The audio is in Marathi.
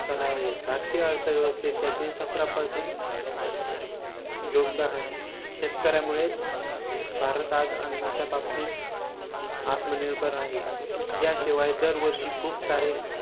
कणा आहे. भारतीय अर्थव्यवस्थेत त्याचे सतरा percent योगदान आहे. शेकऱ्यांमुळेच भारत हा आज अन्नाच्या बाबतीत आत्मनिर्भर आहे. याशिवाय दरवर्षी खूप सारे